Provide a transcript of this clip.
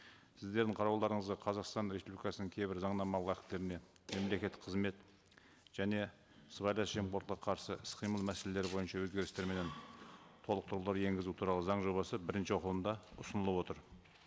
сіздердің қарауларыңызға қазақстан республикасының кейбір заңнамалық актілеріне мемлекеттік қызмет және сыбайлас жемқорлыққа қарсы іс қимыл мәселелері бойынша өзгерістер менен толықтырулар енгізу туралы заң жобасы бірінші оқылымда ұсынылып отыр